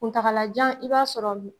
Kuntagalajan i b'a sɔrɔ